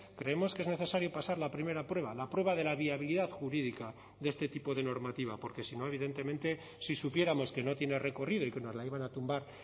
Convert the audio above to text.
creemos que es necesario pasar la primera prueba la prueba de la viabilidad jurídica de este tipo de normativa porque si no evidentemente si supiéramos que no tiene recorrido y que nos la iban a tumbar